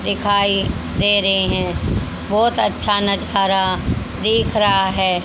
दिखाई दे रेहे है बहोत अच्छा नजारा दिख रहा है।